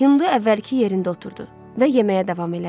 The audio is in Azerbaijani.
Hindu əvvəlki yerində oturdu və yeməyə davam elədi.